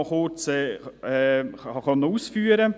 Ich habe es gesagt: